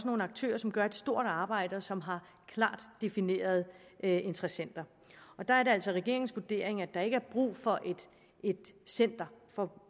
nogle aktører som gør et stort arbejde og som har klart definerede interessenter der er det altså regeringens vurdering at der ikke er brug for et center for